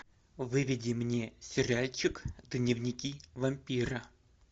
выведи мне сериальчик дневники вампира